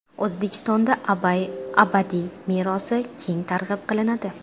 O‘zbekistonda Abay adabiy merosi keng targ‘ib qilinadi.